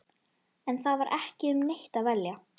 En það var ekki um neitt að velja.